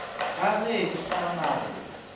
ka ge di kgona go